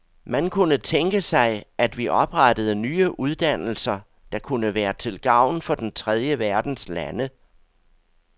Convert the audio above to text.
Man kunne tænke sig, at vi oprettede nye uddannelser, der kunne være til gavn for den tredje verdens lande.